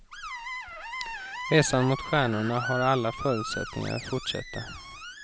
Resan mot stjärnorna har alla förutsättningar att fortsätta.